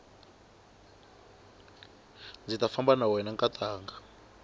ndzi ta famba na wena nkatanga